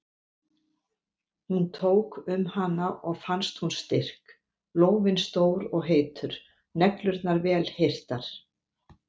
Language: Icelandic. Hún tók um hana og fannst hún styrk, lófinn stór og heitur, neglurnar vel hirtar.